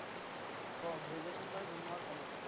আহ graduation কৰা June মাহত complete হ'ব।